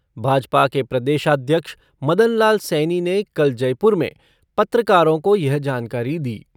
भाजपा के प्रदेशाध्यक्ष मदन लाल सैनी ने कल जयपुर में पत्रकारों को यह जानकारी दी।